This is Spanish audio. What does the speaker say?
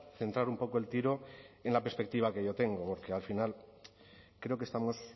centrar un poco el tiro en la perspectiva que yo tengo porque al final creo que estamos